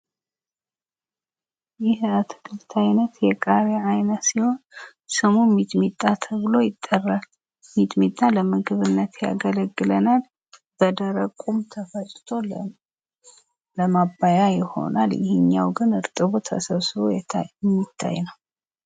ይህ የአትክልት አይነት የቃሪያ አይነት ሲሆን ሚጥሚጣ ተብሎ ይጠራል። ሚጥሚጣ ለምግብነት ያገለግለናል። በደረቁም ተፈጭቶ ለማባያ ይሆናል። ይሄኛው ግን እጥቡ ተሰብስቦ የሚታይ ነው።